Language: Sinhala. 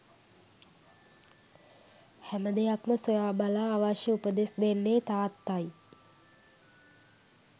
හැම දෙයක්ම සොයාබලා අවශ්‍ය උපදෙස් දෙන්නේ තාත්තයි